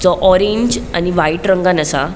सो orange आणि white रंगान असा.